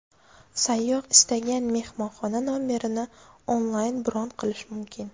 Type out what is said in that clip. Sayyoh istagan mehmonxona nomerini onlayn bron qilishi mumkin.